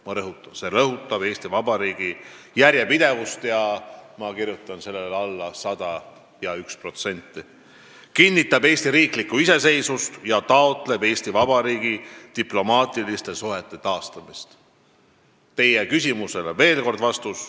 Ma rõhutan: see otsus rõhutab Eesti Vabariigi järjepidevust – ma kirjutan sellele alla sada ja üks protsenti –, kinnitab meie riigi iseseisvust ja taotleb Eesti Vabariigi diplomaatiliste suhete taastamist.